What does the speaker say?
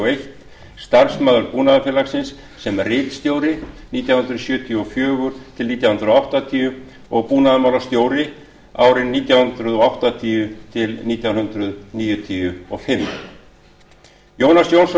einn starfsmaður búnaðarfélagsins sem ritstjóri nítján hundruð sjötíu og fjögur til nítján hundruð áttatíu og búnaðarmálastjóri nítján hundruð áttatíu til nítján hundruð níutíu og fimm jónas jónsson